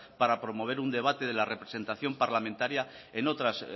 para promover un debate de la representación parlamentaria en otras